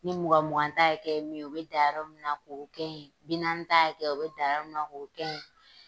Ni mugan mugan ta hakɛ ye min ye u bɛ dan yɔrɔ min na k'o kɛ ye bi naani ta hakɛ u bɛ dan min na k'o kɛ ye.